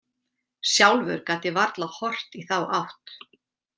Sjálfur gat ég varla horft í þá átt.